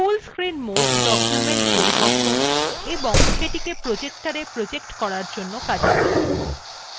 full screen mode documents পরিবর্তন এবং সেটিকে projectora projector করার জন্য উপযোগী